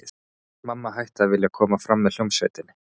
Mamma hætti að vilja koma fram með hljómsveitinni.